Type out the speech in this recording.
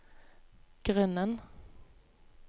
grunnen